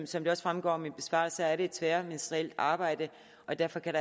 som det også fremgår af min besvarelse er det et tværministerielt arbejde derfor kan